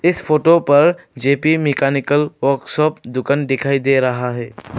इस फोटो पर J P mechanical workshop दुकान दिखाई दे रहा है।